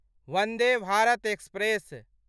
Vande Bharat express